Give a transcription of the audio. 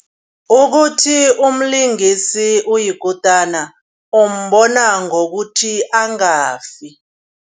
Ukuthi umlingisi oyikutana umbona ngokuthi angafiki.